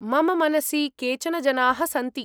मम मनसि केचन जनाः सन्ति।